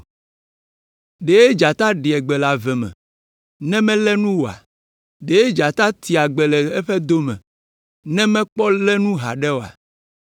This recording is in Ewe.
Ɖe dzata ɖea gbe le ave me ne melé nu oa? Ɖe dzata tea gbe le eƒe do me ne mekpɔ lé nu haɖe oa?